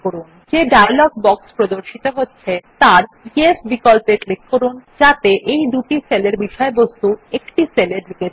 যে dialog box প্রদর্শিত হচ্ছে তার য়েস বিকল্পে ক্লিক করুন যাতে এই দুটি সেলের বিষয়বস্তুই একটি সেলে ঢুকে যায়